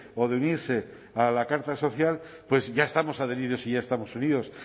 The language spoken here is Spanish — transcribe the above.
o de unirse a la carta social pues ya estamos adheridos y ya estamos unidos